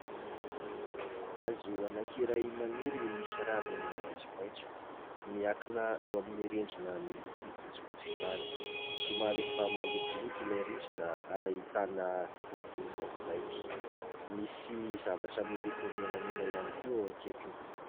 Hazo anankiray maniry misy raviny maitsomaitso, miankina eo amin'ny rindrina miloko fotsifotsy izany, somary efa malotoloto ilay rindrina ary ahitana loko maintimainty, misy zavatra miloko menamena ihany koa eo akaikiny.